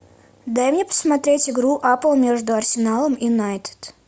дай мне посмотреть игру апл между арсеналом и юнайтед